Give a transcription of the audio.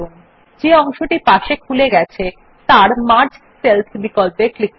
যে sidebar খুলে গেছে তার মার্জ সেলস বিকল্পে ক্লিক করুন